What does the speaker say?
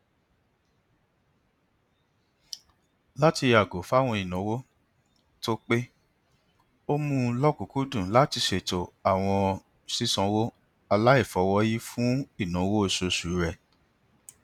látì yàgò fún àwọn ìnáwó tó pé ó mú lọkùnkúndùn láti ṣètò àwọn sísanwó aláìfọwọyí fún ináwó oṣooṣu rẹ